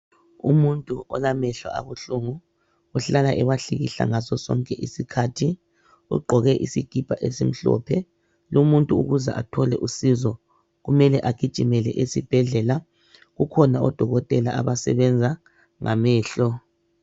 Umuntu olamehlo abuhlungu uhlala ewahlikihla ngaso sonke isikhathi. Ugqoke isikipa esimhlophe. Lumuntu kufuze athole usizo kumele agijimele esibhedlela. Kukhona odokotela abasebenza ngamehlo.